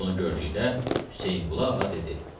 Bunu gördükdə Hüseynqulu ağa dedi: